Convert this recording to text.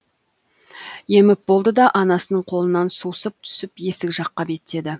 еміп болды да анасының қолынан сусып түсіп есік жаққа беттеді